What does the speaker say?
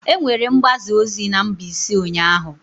Enwere mgbaza ozi na Mbaise ụnyahụ?